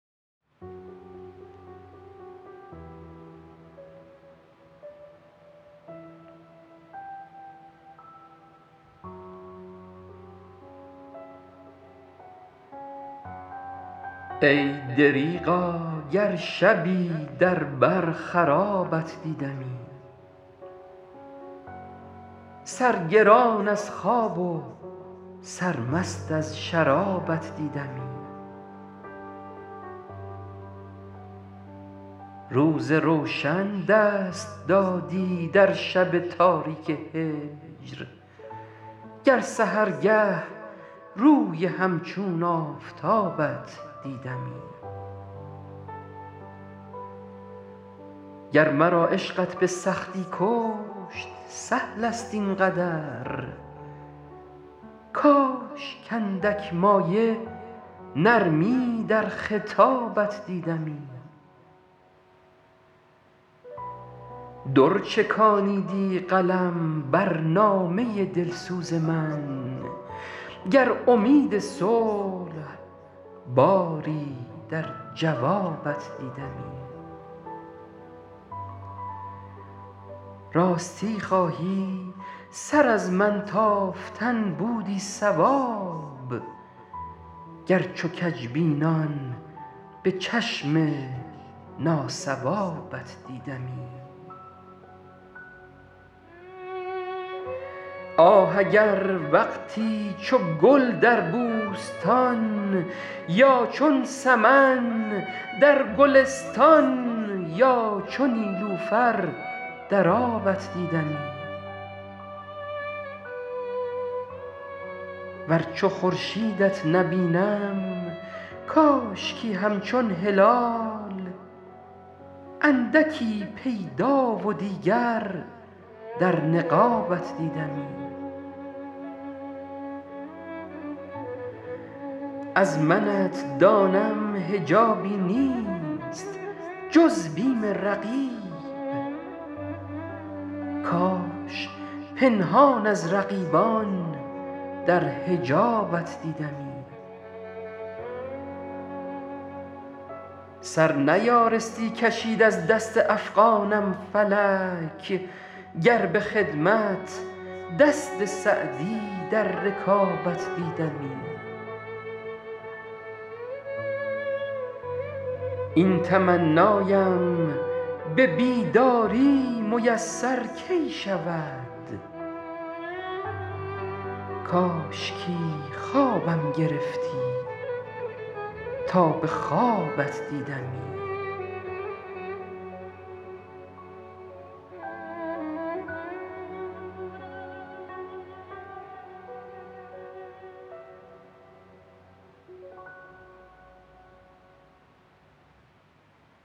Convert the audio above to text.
ای دریغا گر شبی در بر خرابت دیدمی سرگران از خواب و سرمست از شرابت دیدمی روز روشن دست دادی در شب تاریک هجر گر سحرگه روی همچون آفتابت دیدمی گر مرا عشقت به سختی کشت سهل است این قدر کاش کاندک مایه نرمی در خطابت دیدمی در چکانیدی قلم بر نامه دلسوز من گر امید صلح باری در جوابت دیدمی راستی خواهی سر از من تافتن بودی صواب گر چو کژبینان به چشم ناصوابت دیدمی آه اگر وقتی چو گل در بوستان یا چون سمن در گلستان یا چو نیلوفر در آبت دیدمی ور چو خورشیدت نبینم کاشکی همچون هلال اندکی پیدا و دیگر در نقابت دیدمی از منت دانم حجابی نیست جز بیم رقیب کاش پنهان از رقیبان در حجابت دیدمی سر نیارستی کشید از دست افغانم فلک گر به خدمت دست سعدی در رکابت دیدمی این تمنایم به بیداری میسر کی شود کاشکی خوابم گرفتی تا به خوابت دیدمی